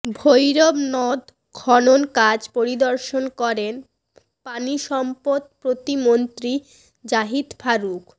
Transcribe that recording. ভৈরব নদ খনন কাজ পরিদর্শন করেন পানি সম্পদ প্রতিমন্ত্রী জাহিদ ফারুক